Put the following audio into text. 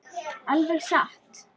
Alveg satt?